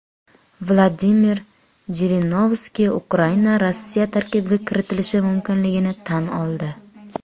Vladimir Jirinovskiy Ukraina Rossiya tarkibiga kiritilishi mumkinligini tan oldi.